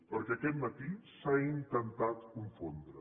perquè aquest matí s’ha intentat confondre